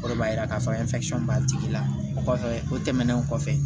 O de b'a yira k'a fɔ b'a tigi la o kɔfɛ o tɛmɛnen kɔfɛ